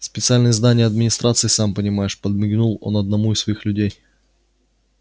специальные задания администрации сам понимаешь подмигнул он одному из своих людей